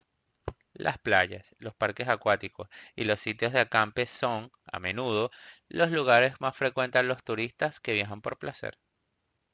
las playas los parques temáticos y los sitios de acampe son a menudo los lugares que más frecuentan los turistas que viajan por placer